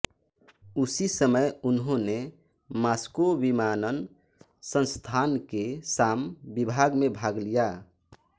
उसी समय उन्होंने मास्को विमानन संस्थान के शाम विभाग में भाग लिया